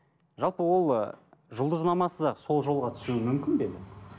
жалпы ол ы жұлдызнамасыз ақ сол жолға түсуі мүмкін бе